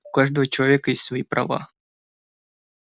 у каждого человека есть свои права